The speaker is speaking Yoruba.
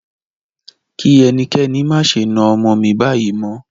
Kí ẹnikẹ́ni má ṣe na ọmọ mí báyìí mọ́!